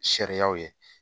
Sariyaw ye